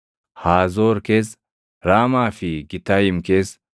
Haazoor keessa, Raamaa fi Gitayim keessa,